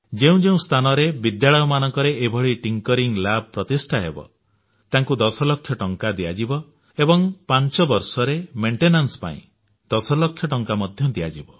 ଯେଉଁ ଯେଉଁ ସ୍ଥାନରେ ବିଦ୍ୟାଳୟମାନଙ୍କରେ ଏହିଭଳି ଥିଙ୍କିଂ ଲାବ୍ ପ୍ରତିଷ୍ଠା ହେବ ତାକୁ 10 ଲକ୍ଷ ଟଙ୍କା ଦିଆଯିବ ଏବଂ ପାଞ୍ଚ ବର୍ଷରେ ରକ୍ଷଣାବେକ୍ଷଣ ପାଇଁ ମଧ୍ୟ 10 ଲକ୍ଷ ଟଙ୍କା ଦିଆଯିବ